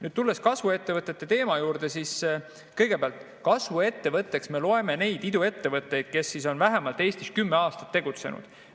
Nüüd, tulles kasvuettevõtete teema juurde, siis kasvuettevõtteks me loeme neid iduettevõtteid, kes on Eestis vähemalt kümme aastat tegutsenud.